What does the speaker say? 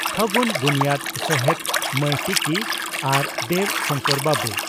ᱯᱷᱟᱹᱜᱩᱱ ᱵᱩᱱᱭᱟᱹᱫᱽ ᱥᱚᱦᱮᱛ ᱢᱟᱹᱭ ᱴᱤᱠᱤ ᱟᱨ ᱫᱮᱵᱽ ᱥᱚᱝᱠᱚᱨ ᱵᱟᱹᱵᱩ